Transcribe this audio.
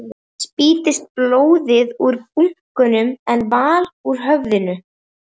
Spýttist blóð úr búknum en vall úr höfðinu.